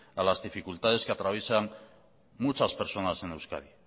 a las dificultades que atraviesan muchas personas en euskadi